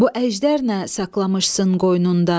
Bu əjdər nə saxlamışsan qoynunda?